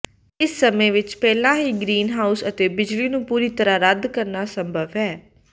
ਇਸ ਸਮੇਂ ਵਿੱਚ ਪਹਿਲਾਂ ਹੀ ਗਰੀਨਹਾਊਸ ਅਤੇ ਬਿਜਲੀ ਨੂੰ ਪੂਰੀ ਤਰ੍ਹਾਂ ਰੱਦ ਕਰਨਾ ਸੰਭਵ ਹੈ